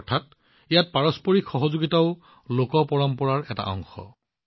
অৰ্থাৎ ইয়াত পাৰস্পৰিক সহযোগিতাও লোক পৰম্পৰাৰ এটা অংশ